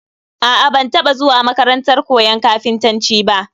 A'a, ban taba zuwa makarantar koyon kafintanci ba